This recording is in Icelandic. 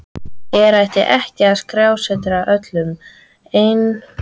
Hér hættir skrásetjari öllum einkahugleiðingum og aðalpersóna bókarinnar tekur við.